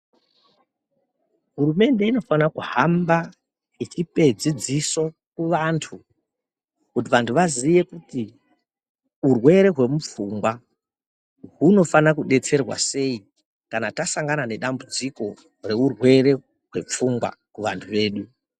Hurumende inofana kuhamba, ichipe dzidziso kuvantu, kuti vantu vazive kuti, urwere, hwemupfungwa hunofana kudetserwa sei, kana tasangana nedambudziko reurwere hwepfungwa kuvantu vedu.